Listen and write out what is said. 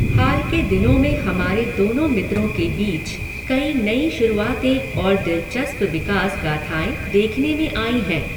हाल के दिनों में हमारे दोनों मित्रों के बीच कई नई शुरुआतें और दिलचस्प विकास गाथाए देखने में आई हैं।